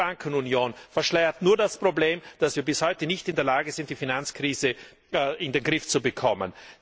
Diese Bankenunion verschleiert nur das Problem, dass wir bis heute nicht in der Lage sind, die Finanzkrise in den Griff zu bekommen.